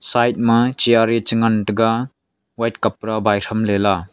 side ma chair e cha ngan taga white kapra bai chamla la.